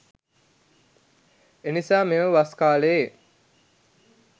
එනිසා මෙම වස් කාලයේ